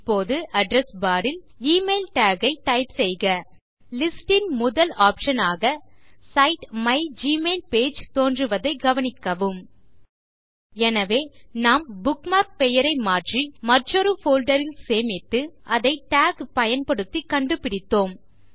இப்போது address bar ல் email tag ஐ டைப் செய்க லிஸ்ட் ன் முதல் ஆப்ஷன் ஆக சைட் மைக்மெயில்பேஜ் தோன்றுவதைக் கவனிக்கவும் எனவே நாம் புக்மார்க் பெயரை மாற்றி மற்றொரு போல்டர் ல் சேமித்து அதை டாக் பயன்படுத்தி கண்டுபிடித்தோம்